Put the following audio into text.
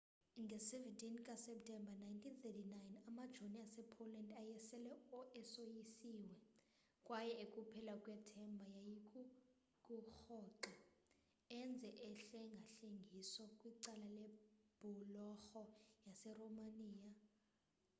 nge-17 kaseptemba 1939 amajoni asepoland ayesele esoyisiwe kwaye ekuphela kwethemba yayikukurhoxa enze uhlengahlengiso kwicala lebhulorho yaseromania